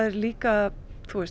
líka að